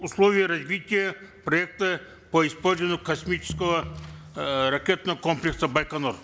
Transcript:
условий развития проекта по использованию космического э ракетного комплекса байконур